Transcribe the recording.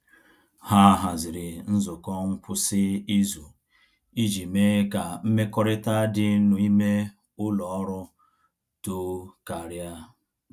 Ha haziri nzukọ ngwụsị izu iji mee ka mmekọrịta dị n’ime ụlọ ọrụ too karịa.